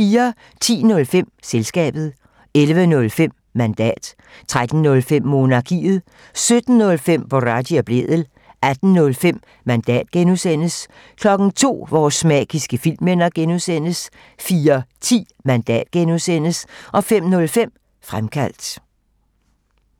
10:05: Selskabet 11:05: Mandat 13:05: Monarkiet 17:05: Boraghi og Blædel 18:05: Mandat (G) 02:00: Vores magiske filmminder (G) 04:10: Mandat (G) 05:05: Fremkaldt